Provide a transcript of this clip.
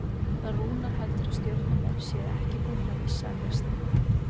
Rúnar heldur að Stjörnumenn séu ekki búnir að missa af lestinni.